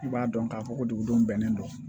I b'a dɔn k'a fɔ ko dugudenw bɛnnen don